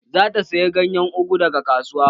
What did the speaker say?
Zata saye ganyen ugu daga kasuwa